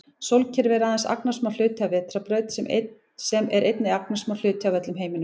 Sólkerfi er aðeins agnarsmár hluti af vetrarbraut sem er einnig agnarsmár hluti af öllum alheiminum.